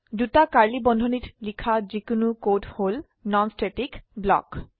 দুটা কাৰ্ড়লী বন্ধনীত লিখা যিকোনো কোড হল নন স্ট্যাটিক ব্লক